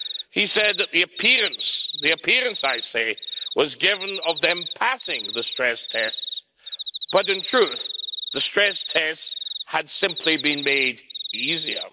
He said that the appearance the appearance, I say was given of them passing the stress tests, but in truth the stress tests had simply been made easier.